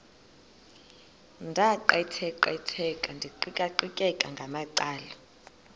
ndaqetheqotha ndiqikaqikeka ngamacala